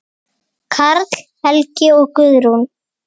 Karl Helgi og Guðrún.